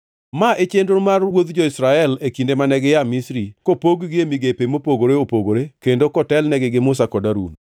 Ma e chenro mar wuodh jo-Israel e kinde mane gia Misri kopog-gi e migepe mopogore opogore kendo kotelnegi gi Musa kod Harun.